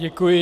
Děkuji.